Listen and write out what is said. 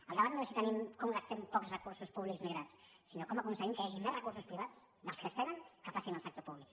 el debat no és com gastem pocs recursos públics migrats sinó com aconseguim que hi hagi més recursos privats dels que es tenen que passin al sector públic